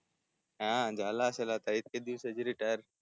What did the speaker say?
हा झाला असेल आता इतके दिवसा च रिटायर